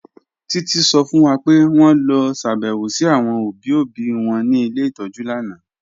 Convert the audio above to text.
Títí sọ fún wà pé wọn lọ ṣàbẹ̀wọ̀ sí àwọn obì obì wọn ní ilẹ̀ itọ́jú lànà